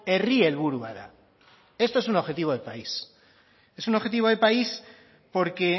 herri helburu bat dela esto es un objetivo de país porque